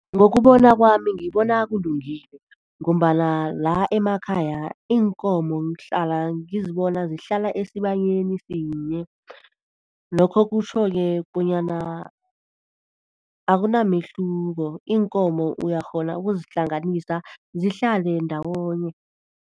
Ngokubona kwami, ngibona kulungile ngombana la emakhaya iinkomo ngihlala ngizibona zihlala esibayeni sinye, lokho kutjho-ke bonyana akunamehluko, iinkomo uyakghona ukuzihlanganisa zihlale ndawonye.